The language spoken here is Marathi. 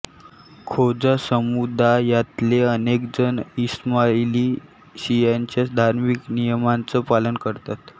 खोजा समुदायातले अनेकजण इस्माइली शियांच्या धार्मिक नियमांचं पालन करतात